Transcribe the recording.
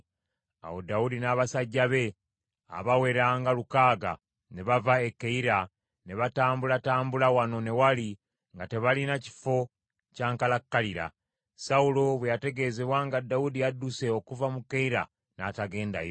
Awo Dawudi n’abasajja be, abawera nga lukaaga ne bava e Keyira, ne batambulatambulanga wano ne wali nga tebalina kifo kyankalakkalira. Sawulo bwe yategeezebwa nga Dawudi adduse okuva mu Keyira, n’atagendayo.